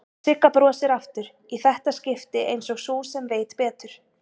Sigga brosir aftur, í þetta skipti einsog sú sem veit betur.